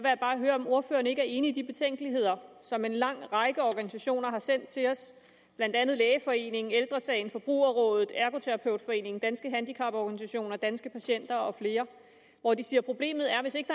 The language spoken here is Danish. jeg bare høre om ordføreren ikke er enig i de betænkeligheder som en lang række organisationer har sendt til os blandt andet lægeforeningen ældre sagen forbrugerrådet ergoterapeutforeningen danske handicaporganisationer danske patienter og flere de siger at problemet er at hvis ikke